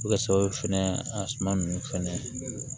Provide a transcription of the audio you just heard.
A bɛ kɛ sababu fɛnɛ a suma nunnu fɛnɛ